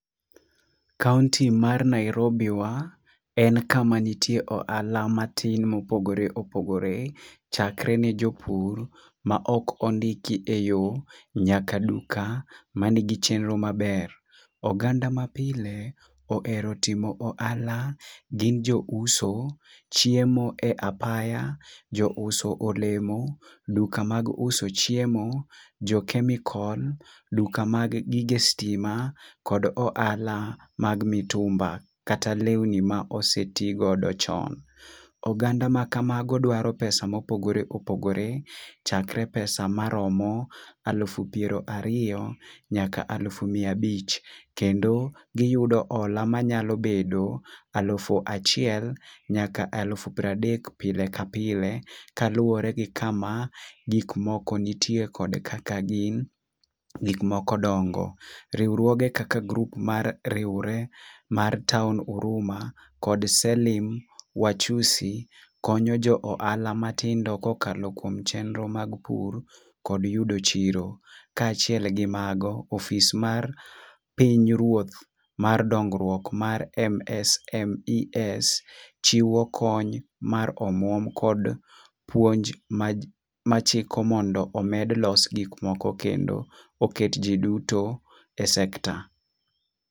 Kaunti mar Nairobi wa en kama nitie ohala matin mopogore opogore ,chakre ne jopur ma ok ondiki e yoo nyaka duka manigi chenro maber. Oganda mapile ohero timo ohala gin jouso chiemo e apaya ,jouso olemo, duka mag uso chiemo, jo chemical, duka mag gige stima kod ohala mga mitumba kata, lewni mosetigo go chon. Oganda ma kamago dwaro pesa mopogore opogore chakre pesa maromo alufu pra riyo nyaka alufu mia abich. Kendo giyudo hola mnyalo bedo alufu achiel nyaka alufu pradek pile ka pile kaluwore gi kama gik moko nitie kod kaka gin gik moko dongo. Riwruoge kaka grup mariwre mar taon huruma kod selim wachusi konyo jo ohala matido kokalo kuom chenro mag pur kod yudo chiro . Kaachiel kod mago opis mar piny ruoth mar dongruok mar MSMES chiwo kony mar omwom kod puonj ma machiko mondo omed los gik moko kendo oket jii duto e sector.